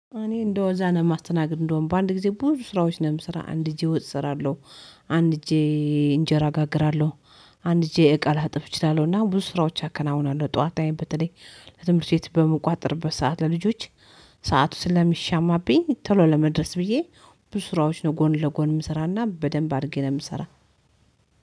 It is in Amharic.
እኔ እንደው እዛ ነው የማስተናግድ እንደውም በአንድ ጊዜ ብዙ ስራዎች ነው የምሰራ አንድ እጄ ወጥ እሰራለሁ አንድ እጄ እንጀራ እጋግራለሁ አንድ እጄ እቃ ላጥብ እችላለሁና ብዙ ስራዎች አከናውናለሁ። ጠዋት ላይም በተለይ ለትምህርት ቤት በምቋጥርበት በሰአት ለልጆች ሰዓቱ ስለሚሻማብኝ ቶሎ ለመድረስ ብዬ ብዙ ስራዎች ነው ጎን ለጎን እምሰራና በደንብ አድርጌ ነው የምሰራ።